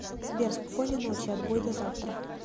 сбер спокойной ночи отбой до завтра